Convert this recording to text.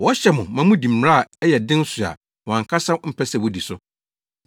Wɔhyɛ mo ma mudi mmara a ɛyɛ den so a wɔn ankasa mpɛ sɛ wodi so.